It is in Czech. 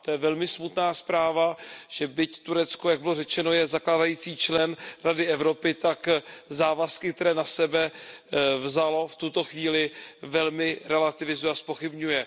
To je velmi smutná zpráva, že byť Turecko, jak bylo řečeno, je zakládající člen Rady Evropy, tak závazky, které na sebe vzalo, v tuto chvíli velmi relativizuje a zpochybňuje.